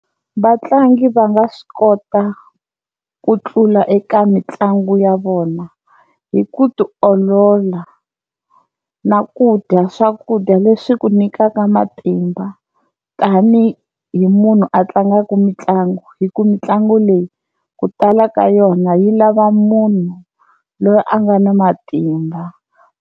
Vatlangi va nga swi kota ku tlula eka mitlangu ya vona hi ku ti olola na ku dya swakudya leswi ku nyikaka matimba tanihi munhu a tlangaka mitlangu, hi ku mitlangu leyi ku tala ka yona yi lava munhu loyi a nga na matimba.